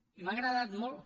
i m’ha agradat molt